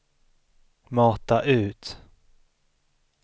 mata ut